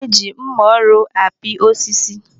E ji mma ọrụ apị osisi.